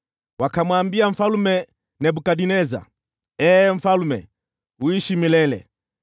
Wakamwambia Mfalme Nebukadneza, “Ee mfalme, uishi milele!